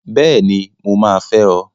Bẹ́ẹ̀ni! Mo máa fẹ́ ọ!